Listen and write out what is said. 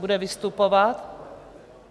Bude vystupovat?